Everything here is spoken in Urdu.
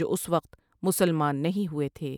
جو اس وقت مسلمان نہیں ہوئے تھے۔